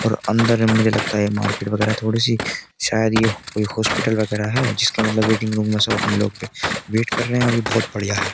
और अंदर मुझे लगता है ये मार्केट वगैरह थोड़ी सी शायद ये कोई हॉस्पिटल वगैरह है जिसका मतलब वेटिंग रूम में सब अपने लोग पे वेट कर रहे हैं और ये बहुत बढ़िया --